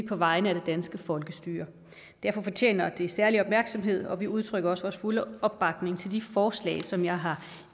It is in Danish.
på vegne af det danske folkestyre derfor fortjener det særlig opmærksomhed og vi udtrykker også vores fulde opbakning til de forslag som jeg har